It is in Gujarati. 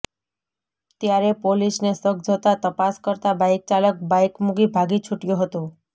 ત્યારે પોલીસને શક જતાં તપાસ કરતાં બાઇક ચાલક બાઇક મુકી ભાગી છુટયો હતો